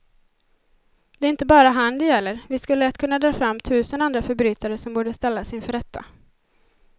Det är inte bara han det gäller, vi skulle lätt kunna dra fram tusen andra förbrytare som borde ställas inför rätta.